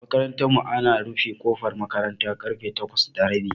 A makarantar mu ana rufe kofar makaranta karfe takwas da rabi